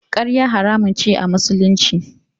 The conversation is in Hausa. Ƙarya haramun ce a Musulunci.